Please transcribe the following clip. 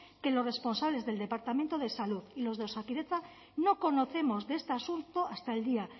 que los responsables del departamento de salud y los de osakidetza no conocemos de este asunto hasta el día